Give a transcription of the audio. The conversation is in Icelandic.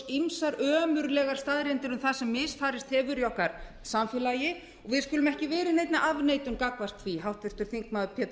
ýmsar ömurlegar staðreyndir um það sem misfarist hefur í okkar samfélagi og við skulum ekki vera í neinni afneitun gagnvart því háttvirtur þingmaður pétur